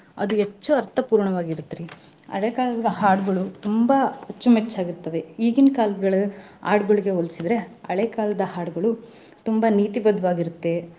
ಅದು ಹೆಚ್ಚು ಅರ್ಥಪೂರ್ಣವಾಗಿರುತ್ರಿ ಹಳೆ ಕಾಲದ ಹಾಡುಗಳು ತುಂಬಾ ಅಚ್ಚು ಮೆಚ್ಚಾಗಿ ಆಗಿರ್ತವೆ ಈಗಿನ ಕಾಲದ್ ಹಾಡುಗಳಿಗೆ ಹೋಲಿಸಿದ್ರೆ ಹಳೆ ಕಾಲದ ಹಾಡುಗಳು ತುಂಬಾ ನೀತಿ ಬದ್ದವಾಗಿರುತ್ತೆ.